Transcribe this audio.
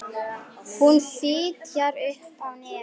Hún fitjar upp á nefið.